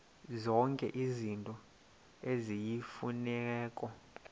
zonke izinto eziyimfuneko